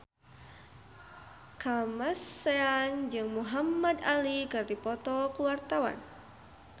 Kamasean jeung Muhamad Ali keur dipoto ku wartawan